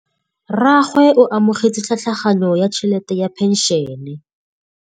Rragwe o amogetse tlhatlhaganyô ya tšhelête ya phenšene.